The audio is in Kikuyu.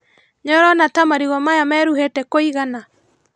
Nĩũrona ta marigũ maya meruhĩte kũigana?